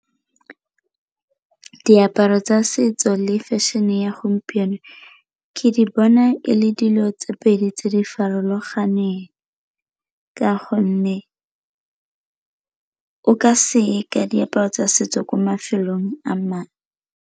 Diaparo tsa setso le fashion-e ya gompieno ke di bona e le dilo tse pedi tse di farologaneng, ka gonne o ka se ye ka diaparo tsa setso ko mafelong a .